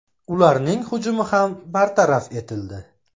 Ularning hujumi ham bartaraf etildi.